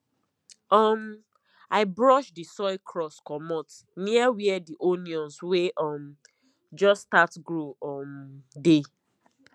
um i brush the soil crust comot near where the onions wey um just start grow um dey